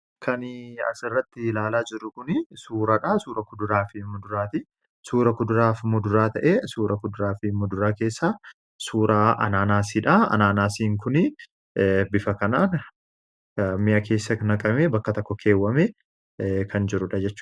Kani asirratti ilaala jiru kun suuraadha. Suuraa kuduraa fi muduraatii. Suura kuduraa fi muduraa ta'e suura kuduraafi muduraa keessa suuraa anaanaasiidha .anaanaasiin kun bifa kanaan mi'a keessa naqame bakka tokko keewwame kan jirudha jechuudhaa.